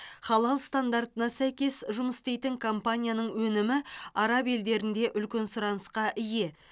халал стандартына сәйкес жұмыс істейтін компанияның өнімі араб елдерінде үлкен сұранысқа ие